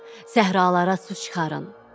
Səhralara su çıxarın.